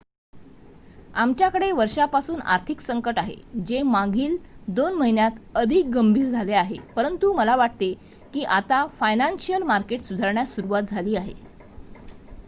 आमच्याकडे वर्षापासून आर्थिक संकट आहे जे मागील 2 महिन्यांत अधिक गंभीर झाले आहे परंतु मला वाटते की आता फायनान्शिअल मार्केट सुधारण्यास सुरुवात झाली आहे